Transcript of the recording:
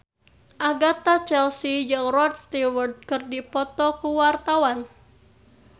Agatha Chelsea jeung Rod Stewart keur dipoto ku wartawan